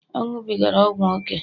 ọ ṅụbigara ọgwụ ókè